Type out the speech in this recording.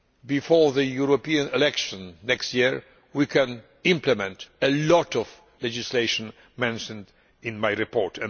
Before the European elections next year we can implement much of the legislation mentioned in my report.